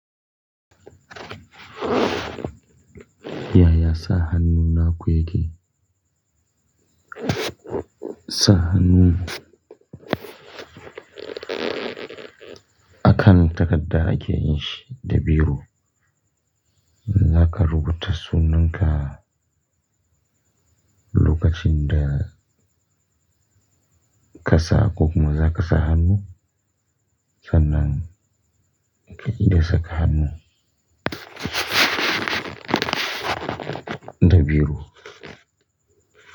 Yaya sa hannu na ku yake? Sa hannu akan takadda ake yin shi da biro. In zaka rubuta sunanka lokacin da ka sa koku ma za ka sa hannu? Sanan ka yi da saka hannu da biro.